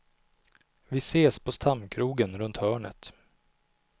Vi ses på stamkrogen runt hörnet.